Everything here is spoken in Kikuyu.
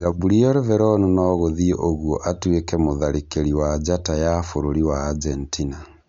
Gabriel Veron nogũthiĩ ũguo atuĩke mũtharĩkĩri wa njata ya bũrũri wa Argentina